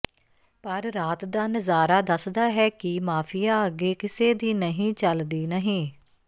ਪਰ ਰਾਤ ਦਾ ਨਜ਼ਾਰਾ ਦੱਸਦਾ ਹੈ ਕਿ ਮਾਫ਼ੀਆ ਅੱਗੇ ਕਿਸੇ ਦੀ ਨਹੀਂ ਚਲਦੀ ਨਹੀਂ